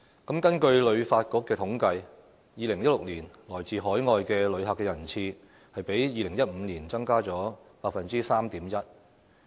根據香港旅遊發展局的統計 ，2016 年來自海外的旅客人次，比2015年增加 3.1%。